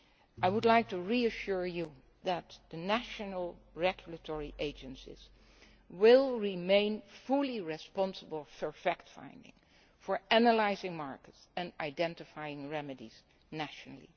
I would like to reassure you that national regulatory agencies will remain fully responsible for fact finding, analysing markets and identifying remedies nationally.